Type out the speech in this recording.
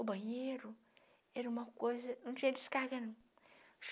O banheiro era uma coisa... não tinha descarga, não.